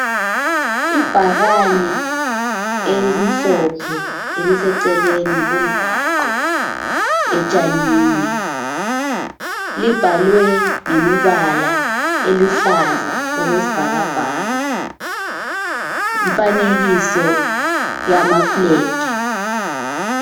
Ibhakane elimhlophe eliseceleni komgwaqo, etshanini libhalwe ngemibala eluhlaza okwesibhakabhaka lemfanekiso yamaflegi.